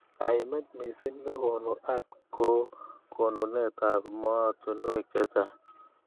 Kaimet missing nekonu ART ko konunet ab mootunwek chechang.